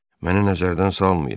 Mənə nəzərdən salmayın.